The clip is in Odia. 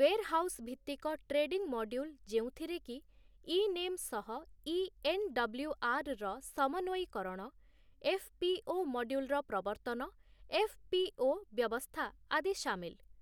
ୱେର୍‌ହାଉସ୍ ଭିତ୍ତିକ ଟ୍ରେଡିଂ ମଡ୍ୟୁଲ୍ ଯେଉଁଥିରେ କି ଇ ନେମ୍‌ ସହ ଇ ଏନ୍‌.ଡବ୍ଲ୍ୟୁ.ଆର୍‌. ର ସମନ୍ୱୟିକରଣ, ଏଫ୍‌.ପି.ଓ. ମଡ୍ୟୁଲର ପ୍ରବର୍ତ୍ତନ, ଏଫ୍‌.ପି.ଓ. ବ୍ୟବସ୍ଥା ଆଦି ସାମିଲ ।